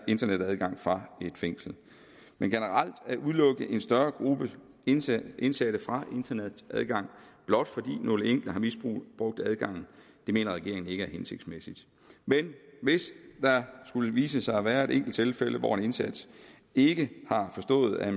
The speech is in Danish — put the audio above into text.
internetadgang fra et fængsel men generelt at udelukke en større gruppe indsatte indsatte fra internetadgang blot fordi nogle enkelte har misbrugt adgangen mener regeringen ikke er hensigtsmæssigt men hvis der skulle vise sig at være et enkelt tilfælde hvor en indsat ikke har forstået at